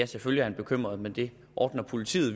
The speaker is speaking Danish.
selvfølgelig er bekymret men det ordner politiet